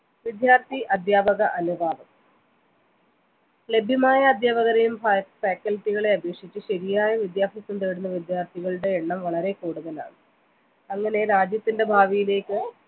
വിദ്യാർത്ഥി അധ്യാപക അനുപാതം ലഭ്യമായ അധ്യാപകരേയും faculty കളെയും അപേക്ഷിച്ച് ശരിയായ വിദ്യാഭ്യാസം തേടുന്ന വിദ്യാർത്ഥികളുടെ എണ്ണം വളരെ കൂടുതലാണ് അങ്ങനെ രാജ്യത്തിൻ്റെ ഭാവിയിലേക്ക്